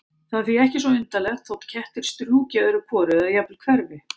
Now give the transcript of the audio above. Það er því ekki svo undarlegt þótt kettir strjúki öðru hvoru eða jafnvel hverfi.